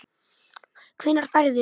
Hvenær ferðu?